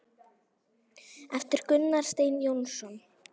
eftir Gunnar Stein Jónsson